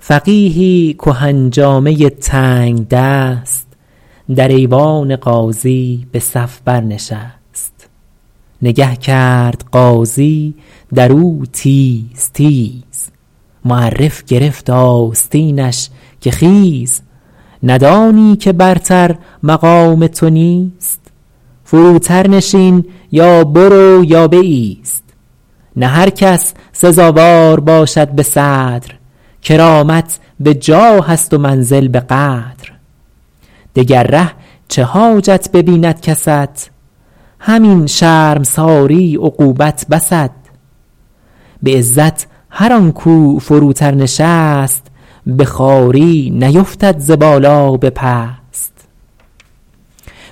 فقیهی کهن جامه تنگدست در ایوان قاضی به صف بر نشست نگه کرد قاضی در او تیز تیز معرف گرفت آستینش که خیز ندانی که برتر مقام تو نیست فروتر نشین یا برو یا بایست نه هر کس سزاوار باشد به صدر کرامت به جاه است و منزل به قدر دگر ره چه حاجت ببیند کست همین شرمساری عقوبت بست به عزت هر آن کاو فروتر نشست به خواری نیفتد ز بالا به پست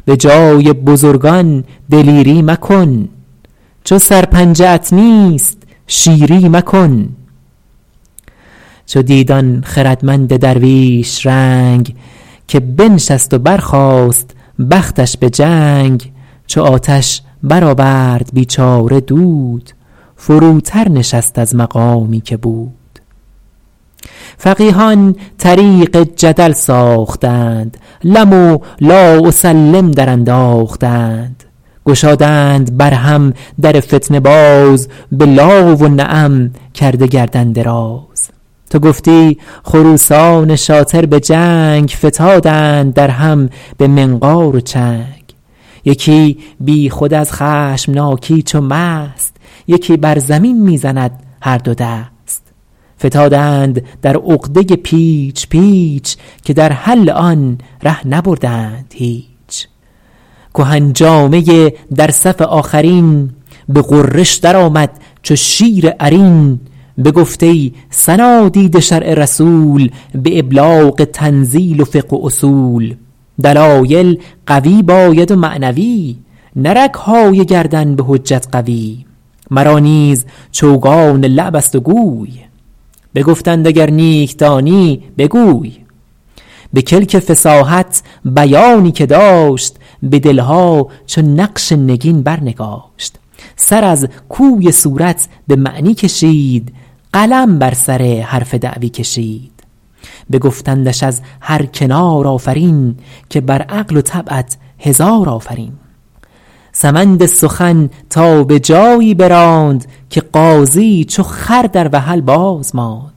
به جای بزرگان دلیری مکن چو سر پنجه ات نیست شیری مکن چو دید آن خردمند درویش رنگ که بنشست و برخاست بختش به جنگ چو آتش برآورد بیچاره دود فروتر نشست از مقامی که بود فقیهان طریق جدل ساختند لم و لا اسلم درانداختند گشادند بر هم در فتنه باز به لا و نعم کرده گردن دراز تو گفتی خروسان شاطر به جنگ فتادند در هم به منقار و چنگ یکی بی خود از خشمناکی چو مست یکی بر زمین می زند هر دو دست فتادند در عقده پیچ پیچ که در حل آن ره نبردند هیچ کهن جامه در صف آخرترین به غرش در آمد چو شیر عرین بگفت ای صنادید شرع رسول به ابلاغ تنزیل و فقه و اصول دلایل قوی باید و معنوی نه رگهای گردن به حجت قوی مرا نیز چوگان لعب است و گوی بگفتند اگر نیک دانی بگوی به کلک فصاحت بیانی که داشت به دلها چو نقش نگین بر نگاشت سر از کوی صورت به معنی کشید قلم بر سر حرف دعوی کشید بگفتندش از هر کنار آفرین که بر عقل و طبعت هزار آفرین سمند سخن تا به جایی براند که قاضی چو خر در وحل باز ماند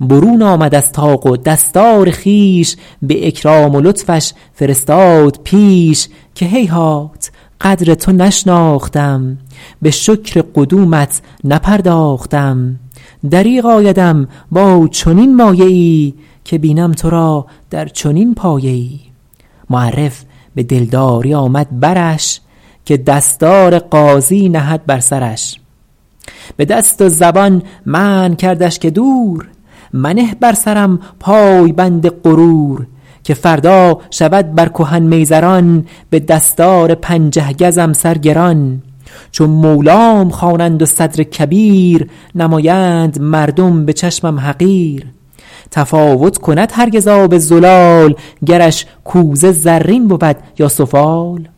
برون آمد از طاق و دستار خویش به اکرام و لطفش فرستاد پیش که هیهات قدر تو نشناختم به شکر قدومت نپرداختم دریغ آیدم با چنین مایه ای که بینم تو را در چنین پایه ای معرف به دلداری آمد برش که دستار قاضی نهد بر سرش به دست و زبان منع کردش که دور منه بر سرم پایبند غرور که فردا شود بر کهن میزران به دستار پنجه گزم سر گران چو مولام خوانند و صدر کبیر نمایند مردم به چشمم حقیر تفاوت کند هرگز آب زلال گرش کوزه زرین بود یا سفال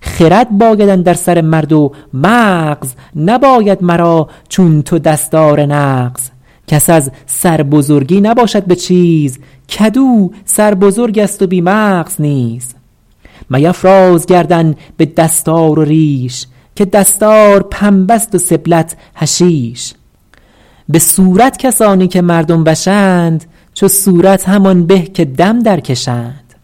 خرد باید اندر سر مرد و مغز نباید مرا چون تو دستار نغز کس از سربزرگی نباشد به چیز کدو سربزرگ است و بی مغز نیز میفراز گردن به دستار و ریش که دستار پنبه ست و سبلت حشیش به صورت کسانی که مردم وشند چو صورت همان به که دم در کشند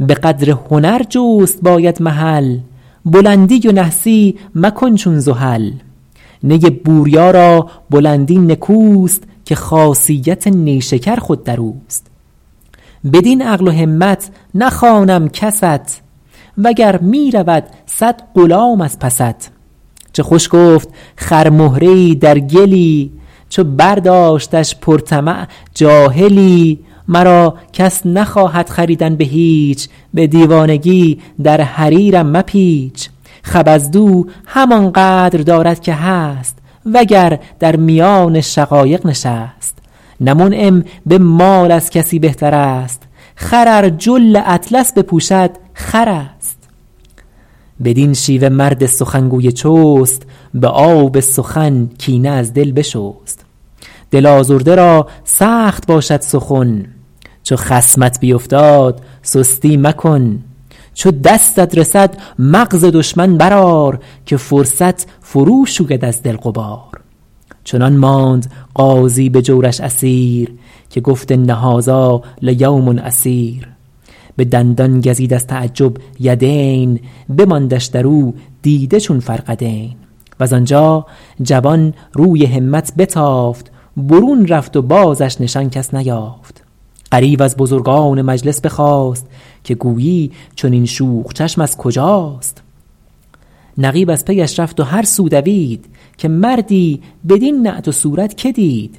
به قدر هنر جست باید محل بلندی و نحسی مکن چون زحل نی بوریا را بلندی نکوست که خاصیت نیشکر خود در اوست بدین عقل و همت نخوانم کست و گر می رود صد غلام از پست چه خوش گفت خرمهره ای در گلی چو برداشتش پر طمع جاهلی مرا کس نخواهد خریدن به هیچ به دیوانگی در حریرم مپیچ خبزدو همان قدر دارد که هست وگر در میان شقایق نشست نه منعم به مال از کسی بهتر است خر ار جل اطلس بپوشد خر است بدین شیوه مرد سخنگوی چست به آب سخن کینه از دل بشست دل آزرده را سخت باشد سخن چو خصمت بیفتاد سستی مکن چو دستت رسد مغز دشمن بر آر که فرصت فرو شوید از دل غبار چنان ماند قاضی به جورش اسیر که گفت ان هذا لیوم عسیر به دندان گزید از تعجب یدین بماندش در او دیده چون فرقدین وز آنجا جوان روی همت بتافت برون رفت و بازش نشان کس نیافت غریو از بزرگان مجلس بخاست که گویی چنین شوخ چشم از کجاست نقیب از پیش رفت و هر سو دوید که مردی بدین نعت و صورت که دید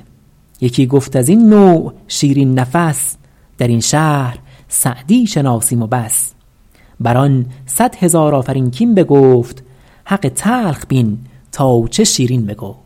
یکی گفت از این نوع شیرین نفس در این شهر سعدی شناسیم و بس بر آن صد هزار آفرین کاین بگفت حق تلخ بین تا چه شیرین بگفت